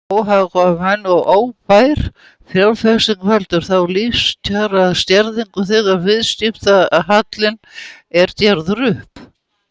Óhagkvæm og óarðbær fjárfesting veldur þá lífskjaraskerðingu þegar viðskiptahallinn er gerður upp.